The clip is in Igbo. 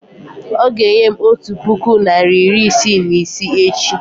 ọ ga-enye m ego otu puku naịra iri isii na isii echi